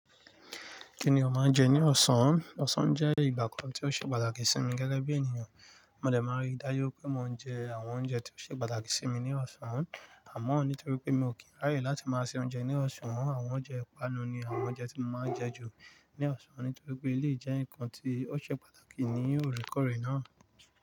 Kí ni o máa ń jẹ ní ọ̀sán? Ọ̀sán jẹ́ ìgbà kan tí ó ṣe pàtàkì sí mi gẹ́gẹ́ bí ènìyàn. Mo dẹ̀ máa ń rí dájú pé mo ń jẹ àwọn oúnjẹ tí ó ṣe pàtàkì sí mi ní ọ̀sán. Àmọ́, nítorí pé mi ò kíń ráyè láti máa se oúnjẹ ní ọ̀sán, àwọn oúnjẹ ìpanu ni àwọn oúnjẹ tí mo máa ń jẹ ju ní ọ̀sán nítorí pé eléyìí jẹ́ nǹkan tí ó ṣe pàtàkì ní òrèkóòrè náà.